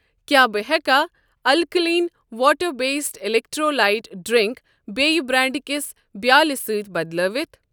کیٛاہ بہٕ ہیٚکا alkaline water based electrolyte drink بییٚہِ بریٚنڑ کِس بیالہِ سۭتۍ بدلٲوَتھ؟